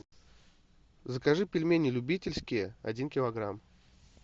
закажи пельмени любительские один килограмм